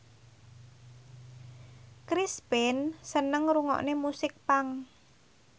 Chris Pane seneng ngrungokne musik punk